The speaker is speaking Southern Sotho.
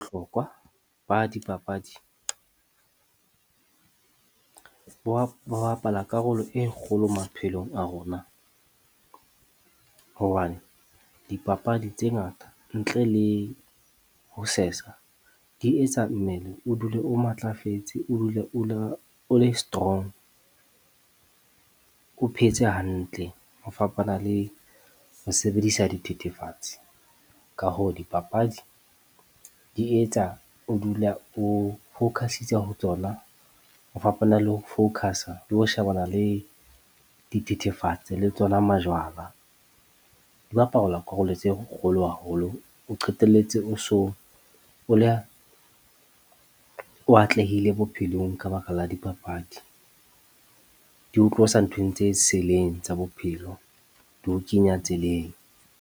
Hlokwa ba dipapadi, bo wa ba bapala karolo e kgolo maphelong a rona. Hobane dipapadi tse ngata ntle le ho sesa, di etsa mmele o dule o matlafetse, o dule o le o le strong o phetse hantle. Ho fapana le ho sebedisa dithethefatsi. Ka hoo, dipapadi di etsa o dula o focus-itse ho tsona ho fapana le ho focus-a le ho shebana le dithethefatse le tsona majwala. Di bapalwa karolo tse kgolo haholo o qetelletse o so o le, o atlehile bophelong ka baka la dipapadi di ho tlosa nthong tse seleng tsa bophelo di ho kenya tseleng.